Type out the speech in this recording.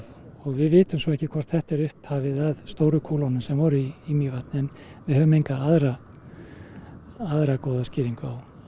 við vitum svo ekki hvort þetta sé upphafið að stóru kúlunum sem voru í Mývatni en við höfum enga aðra aðra góða skýringu